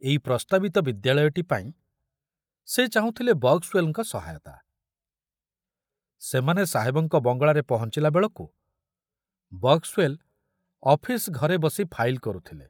ଏଇ ପ୍ରସ୍ତାବିତ ବିଦ୍ୟାଳୟଟି ପାଇଁ ସେ ଚାହୁଁଥିଲେ ବକ୍ସୱେଲଙ୍କ ସେମାନେ ସାହେବଙ୍କ ବଙ୍ଗଳାରେ ପହଞ୍ଚିଲା ବେଳକୁ ବକ୍ସୱେଲ ଅଫିସ ଘରେ ବସି ଫାଇଲ କରୁଥିଲେ।